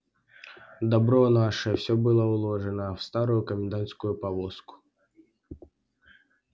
добро наше всё было уложено в старую комендантскую повозку